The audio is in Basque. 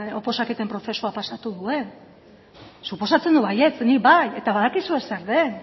oposaketen prozesua pasatu duen suposatzen dut baietz nik bai eta badakizue zer den